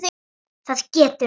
Það getur beðið.